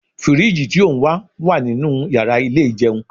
Firiji ti o n wa wa ninu yara ile ijeun